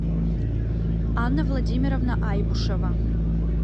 анна владимировна айбушева